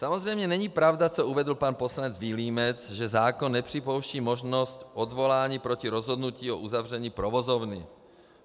Samozřejmě není pravda, co uvedl pan poslanec Vilímec, že zákon nepřipouští možnost odvolání proti rozhodnutí o uzavření provozovny.